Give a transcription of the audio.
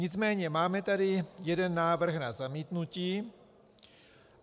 Nicméně máme tady jeden návrh na zamítnutí.